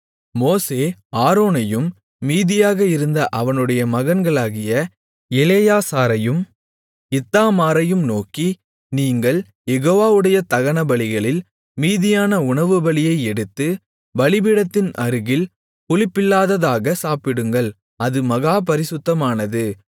மோசே ஆரோனையும் மீதியாக இருந்த அவனுடைய மகன்களாகிய எலெயாசாரையும் இத்தாமாரையும் நோக்கி நீங்கள் யெகோவாவுடைய தகனபலிகளில் மீதியான உணவுபலியை எடுத்து பலிபீடத்தின் அருகில் புளிப்பில்லாததாக சாப்பிடுங்கள் அது மகா பரிசுத்தமானது